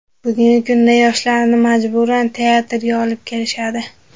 Bugungi kunda yoshlarni majburan teatrga olib kelishadi.